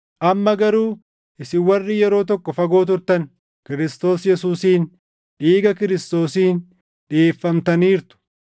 Amma garuu isin warri yeroo tokko fagoo turtan Kiristoos Yesuusiin dhiiga Kiristoosiin dhiʼeeffamtaniirtu.